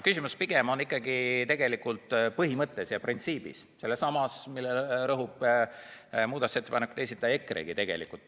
Küsimus pigem on ikkagi põhimõttes, printsiibis, sellessamas, millele rõhub muudatusettepanekute esitaja EKRE-gi tegelikult.